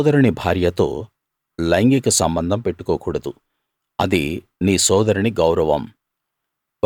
నీ సోదరుని భార్యతో లైంగిక సంబంధం పెట్టుకో కూడదు అది నీ సోదరుని గౌరవం